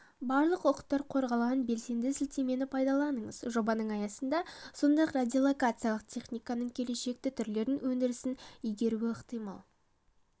барлық құқықтар қорғалған белсенді сілтемені пайдаланыңыз жобаның аясында сондай-ақ радиолокациялық техниканың келешекті түрлерін өндірісін игеруі ықтимал